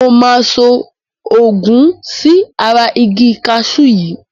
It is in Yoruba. Mo máa so òògun sí ara igi kaṣú yìí.